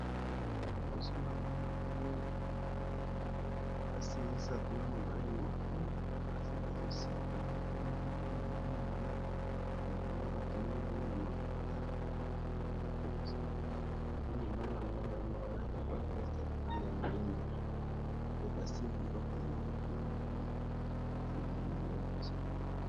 Liboso na nga namoni basi misato na mobale moko basi ba zoseka mingi pe na moni ba lati ba elamba ba tongi yango na maputa pe na moni bango liboso na nga pe mobali na moni alati ba veste ya moindo pe basimbi biloko na maboko na bango nde na moni yango liboso na ngai.